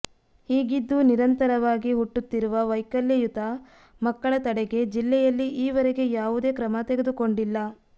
ಹೀಗಿದ್ದೂ ನಿರಂತರವಾಗಿ ಹುಟ್ಟುತ್ತಿರುವ ವೈಕಲ್ಯಯುತ ಮಕ್ಕಳ ತಡೆಗೆ ಜಿಲ್ಲೆಯಲ್ಲಿ ಈವರೆಗೆ ಯಾವುದೇ ಕ್ರಮ ತೆಗೆದುಕೊಂಡಿಲ್ಲ